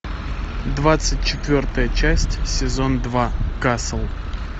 двадцать четвертая часть сезон два касл